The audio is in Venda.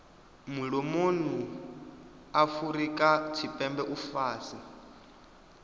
mulomoni afurika tshipembe u fhasi